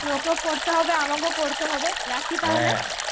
তোকেও পড়তে হবে আমাকেও পড়তে হবে. রাখি তাহলে.